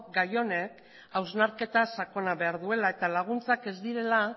gai honek hausnarketa sakona behar duela eta laguntzak ez direla